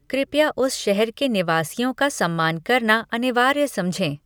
कृपया उस शहर के निवासियों का सम्मान करना अनिवार्य समझें।